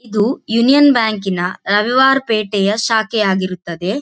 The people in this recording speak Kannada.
ಇದು ಯೂನಿಯನ್ ಬ್ಯಾಂಕ್ ಯಿನ ರವಿವಾರ ಪೇಟೆಯ ಶಾಖೆ ಆಗಿರುತ್ತದ್ದೆ.